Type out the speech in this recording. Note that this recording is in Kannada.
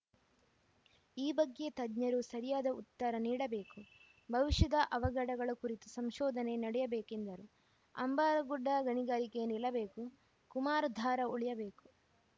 ಈ ಬಗ್ಗೆ ತಜ್ಞರು ಸರಿಯಾದ ಉತ್ತರ ನೀಡಬೇಕು ಭವಿಷ್ಯದ ಅವಘಡಗಳ ಕುರಿತು ಸಂಶೋಧನೆ ನಡೆಯಬೇಕೆಂದರು ಅಂಬಾರಗುಡ್ಡ ಗಣಿಗಾರಿಕೆ ನಿಲ್ಲಬೇಕು ಕುಮಾರಧಾರ ಉಳಿಯಬೇಕು